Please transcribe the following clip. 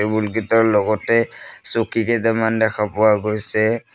Table কিটাৰ লগতে চকী কেটামান দেখা পোৱা গৈছে।